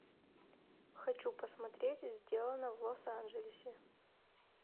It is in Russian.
хочу посмотреть сделано в лос анджелесе